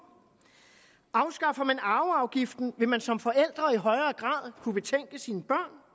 afskaffer man arveafgiften vil man som forældre i højere grad kunne betænke sine